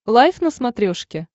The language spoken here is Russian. лайф на смотрешке